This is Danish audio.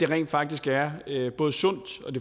rent faktisk er både sundt